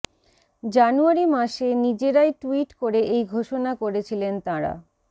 জানুয়ারি মাসে নিজেরাই ট্যুইট করে এই ঘোষণা করেছিলেন তাঁরা